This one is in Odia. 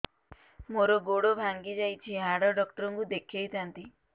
ମୋର ଗୋଡ ଭାଙ୍ଗି ଯାଇଛି ହାଡ ଡକ୍ଟର ଙ୍କୁ ଦେଖେଇ ଥାନ୍ତି